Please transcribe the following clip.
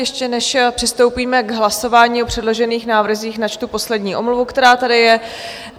Ještě než přistoupíme k hlasování o předložených návrzích, načtu poslední omluvu, která tady je.